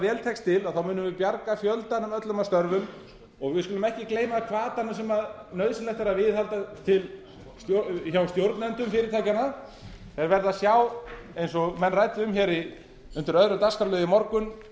vel tekst til að þá munum við bjarga fjöldanum öllum af störfum og við skulum ekki gleyma hvatanum sem nauðsynlegt er að viðhalda hjá stjórnendum fyrirtækjanna þeir verða að sjá eins og menn ræddu um hér undir öðrum